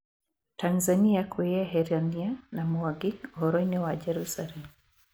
Tanzania kwĩyeherania na Mwangi ũhoro-inĩ wa Jerusalem